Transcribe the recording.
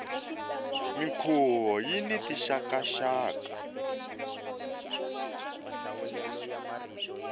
minkhuvo yini tinxaka nxaka